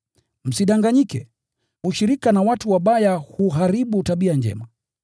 Msidanganyike: “Ushirika na watu wabaya huharibu tabia njema.”